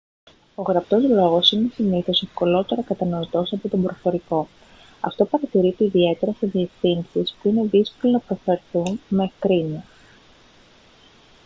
ο γραπτός λόγος είναι συνήθως ευκολότερα κατανοητός από τον προφορικό αυτό παρατηρείται ιδιαίτερα σε διευθύνσεις που είναι δύσκολο να προφερθούν με ευκρίνεια